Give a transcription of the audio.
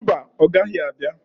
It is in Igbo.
Mba, ọ gaghị abia.